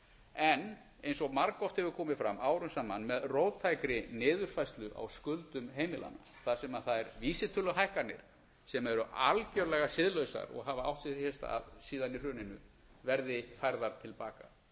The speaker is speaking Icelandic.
en eins og margoft hefur komið fram árum saman með róttækri niðurfærslu á skuldum heimilanna þar sem þær vísitöluhækkanir sem eru algjörlega siðlausar og hafa átt sér hér stað síðan í hruninu verði færðar til baka